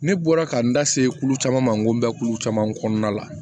Ne bɔra ka n da se kulu caman ma n ko n bɛ kulu caman kɔnɔna la